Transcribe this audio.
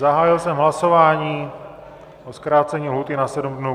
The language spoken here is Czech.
Zahájil jsem hlasování o zkrácení lhůty na 7 dnů.